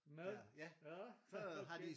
Mad? aha okay